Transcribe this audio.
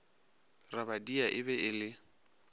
rabadia e be e le